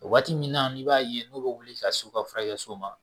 Waati min na n'i b'a ye n'u bɛ wuli ka s'u ka furakɛso ma